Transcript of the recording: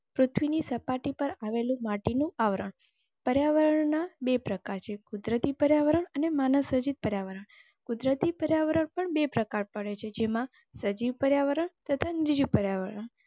પૃથ્વીની સપાટી પર આવેલું માટીનું આવરણ પર્યાવરણ ના બે પ્રકાર છે કુદરતી પર્યાવરણ અને માનવ સર્જિત પર્યાવરણ. કુદરતી પર્યાવરણ પણ બે પ્રકાર પડે છે જેમાં સજીવ પર્યાવરણ, તથા નિર્જીવ પર્યાવરણ.